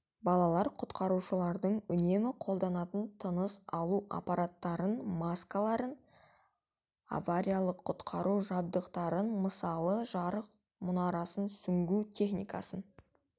балалар құтқарушылардың үнемі қолданатын тыныс алу аппараттарын маскаларын авариялық-құтқару жабдықтарын мысалы жарық мұнарасын сүңгу техникасын